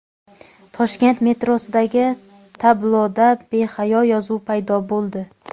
Toshkent metrosidagi tabloda behayo yozuv paydo bo‘ldi.